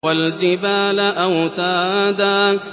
وَالْجِبَالَ أَوْتَادًا